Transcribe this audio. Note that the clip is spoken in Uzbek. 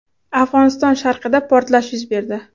Afg‘oniston sharqida portlash yuz berdi.